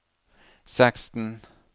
seksten